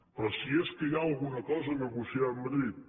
però si és que hi ha alguna cosa a negociar amb madrid